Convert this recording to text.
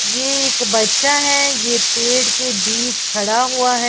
ये एक बच्चा है ये पेड़ के बीच खड़ा हुआ है।